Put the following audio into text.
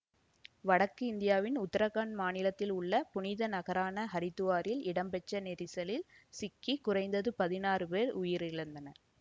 வடக்கு இந்தியாவின் உத்தராகண்ட மாநிலத்தில் உள்ள புனித நகரான அரிதுவாரில் இடம்பெற்ற நெரிசலில் சிக்கி குறைந்தது பதினாறு பேர் உயிரிழந்தனர்